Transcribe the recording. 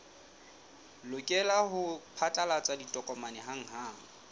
lokela ho phatlalatsa ditokomane hanghang